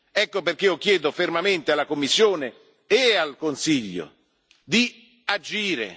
Ecco perché io chiedo fermamente alla Commissione e al Consiglio di agire.